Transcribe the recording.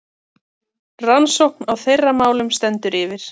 Rannsókn á þeirra málum stendur yfir.